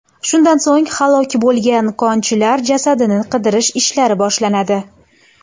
Shundan so‘ng halok bo‘lgan konchilar jasadini qidirish ishlari boshlanadi.